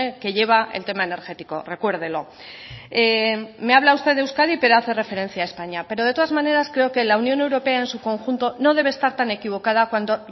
que lleva el tema energético recuérdelo me habla usted de euskadi pero hace referencia a españa pero de todas maneras creo que la unión europea en su conjunto no debe estar tan equivocada cuando